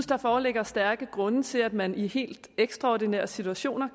der foreligger stærke grunde til at man i helt ekstraordinære situationer